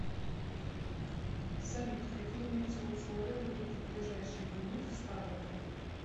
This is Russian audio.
салют какие метеоусловия будут в ближайшие дни в ставрополе